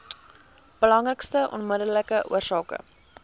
belangrikste onmiddellike oorsake